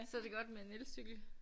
Så det godt med en elcykel